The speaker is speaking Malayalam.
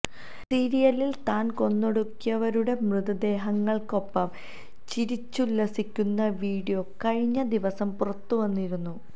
സിറിയയിൽ താൻ കൊന്നൊടുക്കിയവരുടെ മൃതദേഹങ്ങൾക്കൊപ്പം ചിരിച്ചുല്ലസിക്കുന്ന വിഡിയോ കഴിഞ്ഞ ദിവസം പുറത്ത് വന്നിരുന്നു